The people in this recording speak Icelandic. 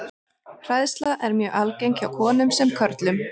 Hræðsla er mjög algeng hjá konum sem körlum.